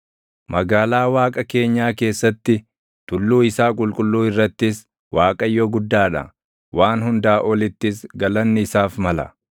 Magaalaa Waaqa keenyaa keessatti, tulluu isaa qulqulluu irrattis, Waaqayyo guddaa dha; waan hundaa olittis galanni isaaf mala.